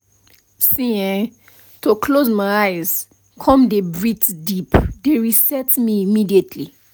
see[um]to close my eyes come dey breathe deep dey reset me immediately